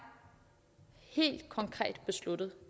helt konkret besluttet